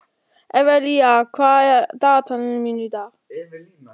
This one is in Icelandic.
Evelía, hvað er á dagatalinu mínu í dag?